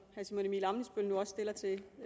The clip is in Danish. herre simon emil ammitzbøll nu også stillede til